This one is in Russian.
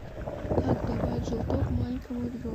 как давать желток маленькому ребенку